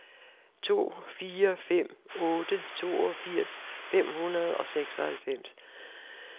to fire fem otte toogfirs fem hundrede og seksoghalvfems